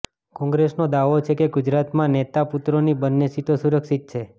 કોંગ્રેસનો દાવો છે કે ગુજરાતમાં નેતા પુત્રોની બંને સીટો સુરક્ષિત છે